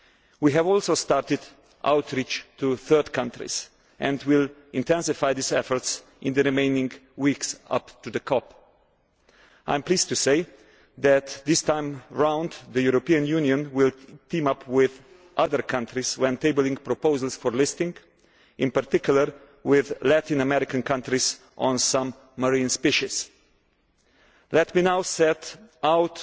We have also started outreach to third countries and will intensify these efforts in the remaining weeks leading up to the COP. I am pleased to say that this time round the European Union will team up with other countries when tabling proposals for listing, in particular with Latin American countries on some marine species. Let me now set out